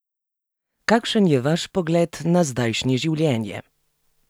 Kakšen je vaš pogled na zdajšnje življenje?